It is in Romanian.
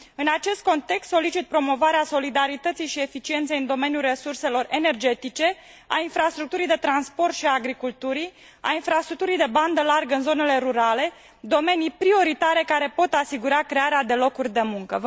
În acest context solicit promovarea solidarității și eficienței în domeniul resurselor energetice, a infrastructurii de transport și agriculturii, a infrastructurii de bandă largă în zonele rurale, domenii prioritare care pot asigura crearea de locuri de muncă.